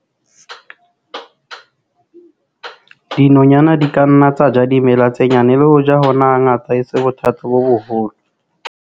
Dinonyana di ka nna tsa ja dimela tse nyane, le hoja hona hangata e se bothata bo boholo.